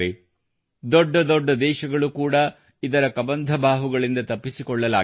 ದೊಡ್ಡ ದೊಡ್ಡ ದೇಶಗಳು ಕೂಡಾ ಇದರ ಕಬಂಧ ಬಾಹುಗಳಿಂದ ತಪ್ಪಿಸಿಕೊಳ್ಳಲಾಗಿಲ್ಲ